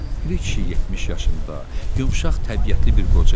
Piri kişi 70 yaşında, yumşaq təbiətli bir qoca idi.